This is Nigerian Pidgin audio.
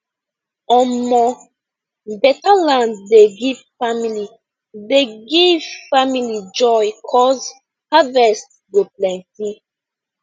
omo beta land dey give family dey give family joy cuz harvest go plenty